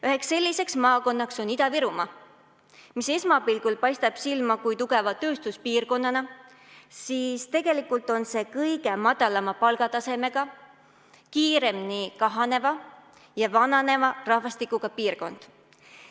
Üheks selliseks maakonnaks on Ida-Virumaa, mis esmapilgul paistab silma tugeva tööstuspiirkonnana, kuid tegelikult on see kõige madalama palgatasemega ning kõige kiiremini kahaneva ja vananeva rahvastikuga piirkond.